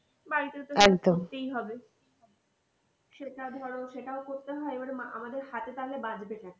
বাড়িতে তো করতেই হবে সেটা ধরো সেটাও করতে হয় এবার আমাদের হাতে তাহলে বাচঁবেটা কি?